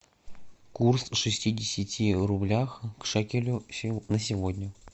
курс шестидесяти рублях к шекелю на сегодня